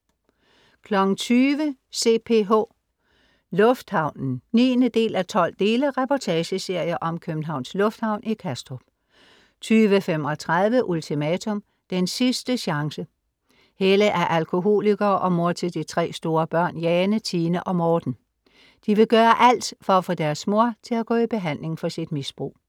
20.00 CPH. Lufthavnen 9:12 reportageserie om Københavns Lufthavn i Kastrup 20.35 Ultimatum. Den sidste chance. Helle er alkoholiker og mor til de tre store børn Jane, Tine og Morten. De vil gøre alt for at få deres mor til at gå i behandling for sit misbrug